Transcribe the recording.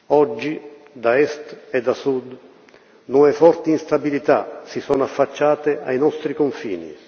Oggi, da est e da sud, nuove forti instabilità si sono affacciate ai nostri confini.